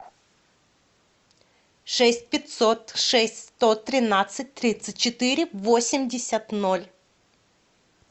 шесть пятьсот шесть сто тринадцать тридцать четыре восемьдесят ноль